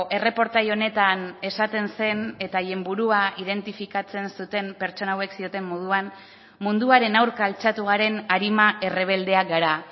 erreportai honetan esaten zen eta haien burua identifikatzen zuten pertsona hauek zioten moduan munduaren aurka altxatu garen arima errebeldeak gara